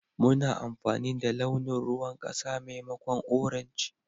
Muna amfani da launin ruwan kasa maimakon orange.